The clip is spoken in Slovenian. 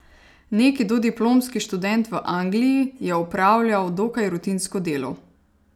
Neki dodiplomski študent v Angliji je opravljal dokaj rutinsko delo.